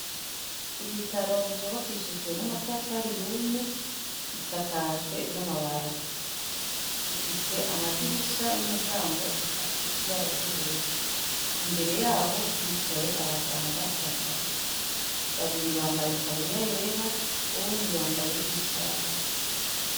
Ibitaro vyubakishijwe n'amatafari iyumye risakajwe n'amabazi ifise amadirisha n'imiryango asizeibarary'ubururu imbere yaho hicaye abaganga batatu babiri bambaye itaburiya yera uwundi yambaye icatsi.